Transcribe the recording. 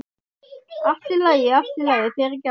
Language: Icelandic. Allt í lagi, allt í lagi, fyrirgefðu.